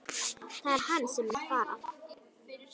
Það er hann sem vill fara